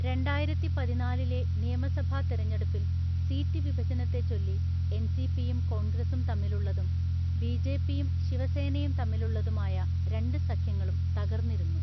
രണ്ടായിരത്തിപതിനാലിലെ നിയമസഭാ തിരഞ്ഞെടുപ്പിൽ സീറ്റ് വിഭജനത്തെച്ചൊല്ലി എൻസിപിയും കോൺഗ്രസും തമ്മിലുള്ളതും ബിജെപിയും ശിവസേനയും തമ്മിലുള്ളതുമായ രണ്ട് സഖ്യങ്ങളും തകർന്നിരുന്നു.